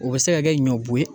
O bɛ se ka kɛ ɲɔ bo ye.